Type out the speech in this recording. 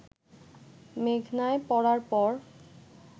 মেঘনায় পড়ার পর